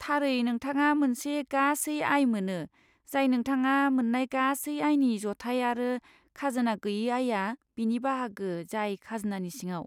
थारै, नोंथाङा मोनसे गासै आय मोनो, जाय नोंथाङा मोन्नाय गासै आयनि जथाय, आरो खाजोना गोयै आयआ बेनि बाहागो जाय खाजोनानि सिङाव।